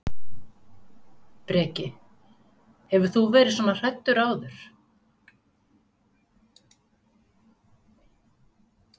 Breki: Hefur þú verið svona hræddur áður?